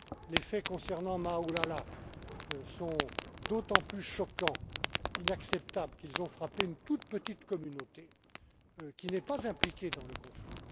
Les faits concernant Maaloula sont d'autant plus choquants et inacceptables qu'ils ont frappé une toute petite communauté qui n'est pas impliquée dans le conflit.